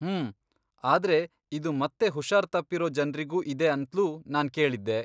ಹ್ಮೂ, ಆದ್ರೆ ಇದು ಮತ್ತೆ ಹುಷಾರ್ತಪ್ಪಿರೋ ಜನ್ರಿಗೂ ಇದೆ ಅಂತ್ಲೂ ನಾನ್ ಕೇಳಿದ್ದೆ.